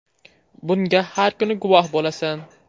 Bunga har kuni guvoh bo‘lasan.